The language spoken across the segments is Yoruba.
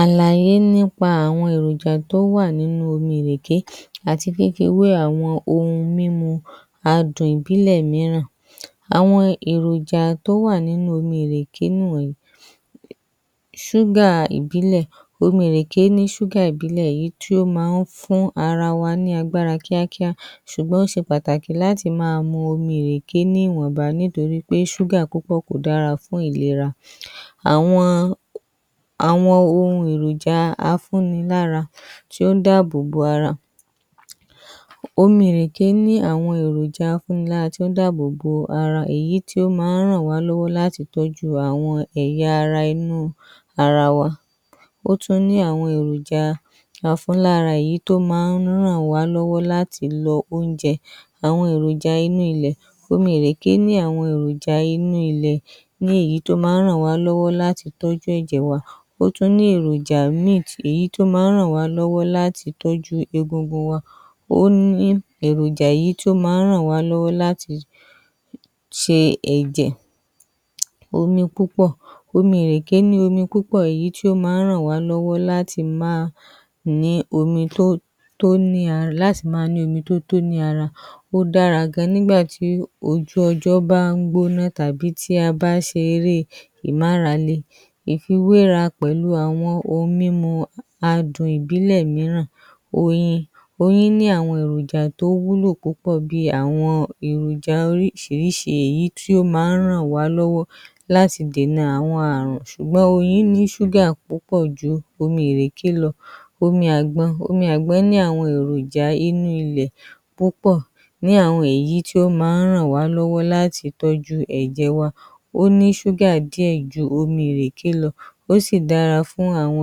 Àlàyé nípa àwọn èròjà tó wà nínú omi ìrèké àti fífí wé àwọn ohun mímu adùn ìbílẹ̀ míìrán. Àwọn èròjà tó wà nínú omi ìrèké ni ìwọ̀nyí: Ṣúgà ìbílẹ̀. Omì ìrèké ní ṣúgà ìbílẹ̀ yìí tí ó máa fún ara wa ní agbára kíákíá ṣùgbọ́n ó ṣe pàtàkì láti máa mu omi ìrèké ní ìwọ̀nba nítorí pé ṣúgà púpọ̀ kò dára fún ìlera. Àwọn, ohun èròjà afúnnilárá tí ó dá bóbó ara. Omì ìrèké ní àwọn èròjà afúnnilárá tí ó dá bóbó ara, èyí tí ó máa ràn wa lọ́wọ́ láti tọ́jú àwọn ẹ̀yà ara inú ara wa. Ó tún ní àwọn èròjà afúnlárá, èyí tó máa ń ràn wa lọ́wọ́ láti lo oúnjẹ. Àwọn èròjà inú ilẹ̀. Omì ìrèké ní àwọn èròjà inú ilẹ̀, èyí tó máa ń ràn wa lọ́wọ́ láti tọ́jú ẹ̀jẹ̀ wa. Ó tún ní èròjà meat, èyí tó máa ń ràn wa lọ́wọ́ láti tọ́jú egungun wa. Ó ní èròjà yìí tó máa ń ràn wa lọ́wọ́ láti ṣe ẹ̀jẹ̀. Omí púpọ̀. Omì ìrèké ní omi púpọ̀, èyí tí ó máa ń ràn wa lọ́wọ́ láti máa ní omi tó, tó ní ara, láti máa ní omi tó tó ní ara. Ó dára gà nígbà tí ojú ọjọ́ bá ń gbóná tàbí tí a bá ṣe eré ìmáralẹ̀. Ìfiwérà pẹ̀lú àwọn ohun mímu adùn ìbílẹ̀ mìíràn: Oyín. Oyín ní àwọn èròjà tó wúlò púpọ̀, bí àwọn èròjà oríṣìíríṣìí, èyí tí ó máa ń ràn wa lọ́wọ́ láti dènà àwọn ààrùn, ṣùgbọ́n oyín ní ṣúgà púpọ̀ ju omi ìrèké lọ. Omi àgbọn. Omi àgbọn ní àwọn èròjà inú ilẹ̀ púpọ̀, ní àwọn ẹ̀yí tí ó máa ń ràn wa lọ́wọ́ láti tọ́jú ẹ̀jẹ̀ wa. Ó ní ṣúgà díẹ̀ ju omi ìrèké lọ, ó sì dára fún àwọn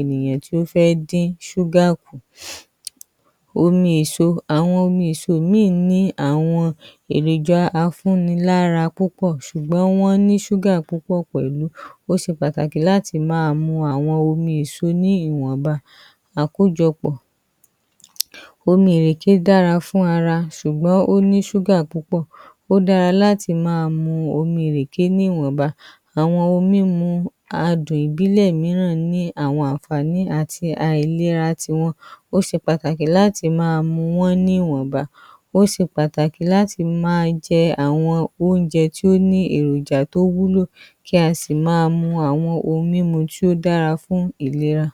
ènìyàn tí ó fẹ́ dín ṣúgà kù. Omi èso. Àwọn omi èso ní àwọn èròjà afúnnilárá púpọ̀, ṣùgbọ́n wọ́n ní ṣúgà púpọ̀ pẹ̀lú. Ó ṣe pàtàkì láti máa mu àwọn omi èso ní ìwọ̀nba. Àkójọpọ̀. Omì ìrèké dára fún ara, ṣùgbọ́n ó ní ṣúgà púpọ̀. Ó dára láti máa mu omi ìrèké ní ìwọ̀nba. Àwọn ohun mímu adùn ìbílẹ̀ mìíràn ní àwọn àǹfààní àti àìlérà tí wọ́n. Ó ṣe pàtàkì láti máa mu wọn ní ìwọ̀nba. Ó ṣe pàtàkì láti máa jẹ àwọn oúnjẹ tí ó ní èròjà tó wúlò, kí a sì máa mu àwọn ohun mímu tí ó dára fún ìlera.